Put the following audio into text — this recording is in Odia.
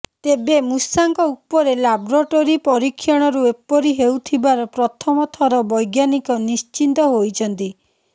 ତେବେ ମୁଷାଙ୍କ ଉପରେ ଲାବୋରେଟରୀ ପରୀକ୍ଷଣରୁ ଏପରି ହେଉଥିବାର ପ୍ରଥମ ଥର ବୈଜ୍ଞାନିକ ନିଶ୍ଚିତ ହୋଇଛନ୍ତି